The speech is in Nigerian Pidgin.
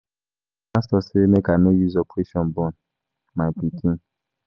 My pastor say make I no use operation born my pikin.